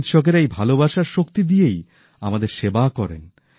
চিকিৎসকেরা এই ভালবাসার শক্তি দিয়েই আমাদের সেবা করে থাকেন